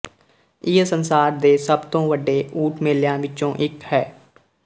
ਇਹ ਸੰਸਾਰ ਦੇ ਸਭ ਤੋਂ ਵੱਡੇ ਊਠ ਮੇਲਿਆਂ ਵਿੱਚੋਂ ਇੱਕ ਹੈ